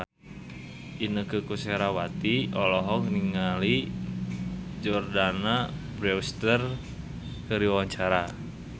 Inneke Koesherawati olohok ningali Jordana Brewster keur diwawancara